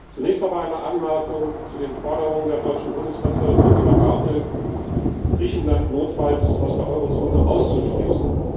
Zunächst aber eine Anmerkung zu den Forderungen der deutschen Bundeskanzlerin Angela Merkel, Griechenland notfalls aus der Eurozone auszuschließen.